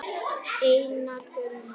Einar Gunnar.